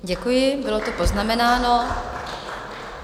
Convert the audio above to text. Děkuji, bylo to poznamenáno.